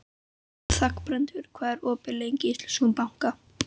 Þangbrandur, hvað er opið lengi í Íslandsbanka?